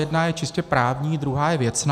Jedna je čistě právní, druhá je věcná.